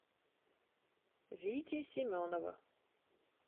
вити семенова